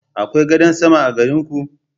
Akwai gadan sama a garin ku?